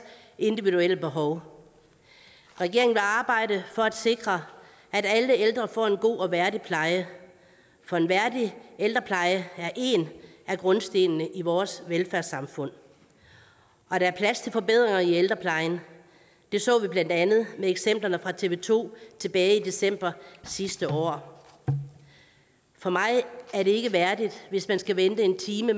individuelle behov regeringen vil arbejde for at sikre at alle ældre får en god og værdig pleje for en værdig ældrepleje er en af grundstenene i vores velfærdssamfund der er plads til forbedringer i ældreplejen det så vi blandt andet med eksemplerne fra tv to tilbage i december sidste år for mig er det ikke værdigt hvis man skal vente en time